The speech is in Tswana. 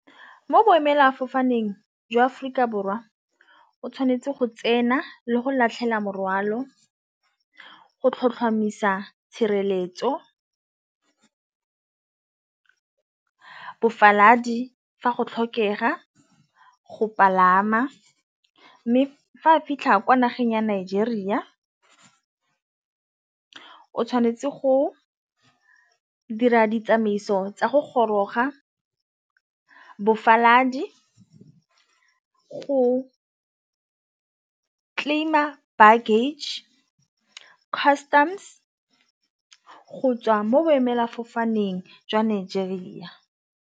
Mo boemela fofaneng jwa Aforika Borwa o tshwanetse go tsena le go latlhela morwalo go tlhotlhomisa tshireletso. Fa go tlhokega go palama mme fa fitlha kwa nageng ya Nigeria o tshwanetse go dira ditsamaiso tsa go goroga go claim-a bare luggage, customs go tswa mo boemelafofane teng jwa Nigeria.